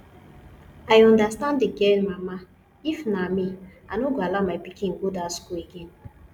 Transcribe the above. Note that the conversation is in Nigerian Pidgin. i understand the girl mama if na me i no go allow my pikin go dat school again